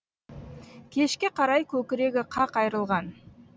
кешке қарай көкірегі қақ айрылған